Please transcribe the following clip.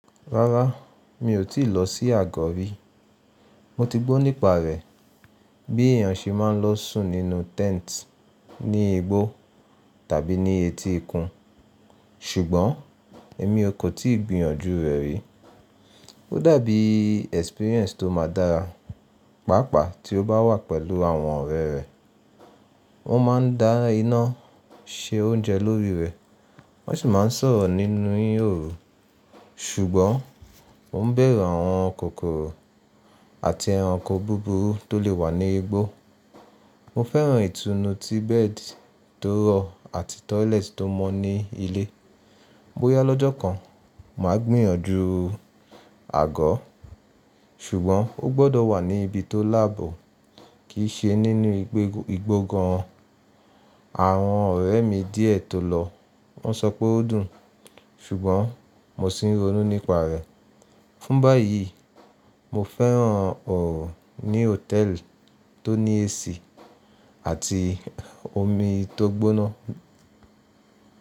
Rárá, mi ò tíì lọ sí àgọ̀ rí. Mo ti gbó nípa rẹ̀, bí èèyàn ṣe máa ń lọ sùn nínú tent ní igbó tàbí ní etí ikún, ṣùgbọ́n èmi ò kò tíì gbìyànjú rẹ̀ rí. Ó dàbí experience tó máa dára, pàápàá tí ó bá wà pẹ̀lú àwọn ọ̀rẹ́ rẹ. Wọ́n máa ń dá iná, se oúnjẹ lórí rẹ̀, wọ́n sì máa ń sọ̀rọ̀ nínú ìhòòhò. Ṣùgbọ́n mo ń bẹ̀rù àwọn kòkòrò àti ẹranko búburú tó lè wà ní igbó. Mo fẹ́ràn ìtùnú tí bẹ́ẹ̀dì tó rọ̀ àti toilet tó mọ́ ní ilé. Bóyá lọ́jọ́ kan màá gbìyànjú àgọ́, ṣùgbọ́n ó gbọdọ̀ wà ní ibi tó láàbò, kì í ṣe nínú igbó gan. Àwọn ọ̀rẹ́ mi díẹ̀ tó lọ, wọ́n sọ pé ó dùn, ṣùgbọ́n mo sì ń ronú nípa rẹ̀. Fún báyìí, mo fẹ́ràn ọ̀rọ̀ ní hòtẹ́ẹ̀lì tó ní AC àti omi tó gbóná.